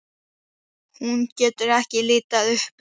Hún getur ekki litið upp.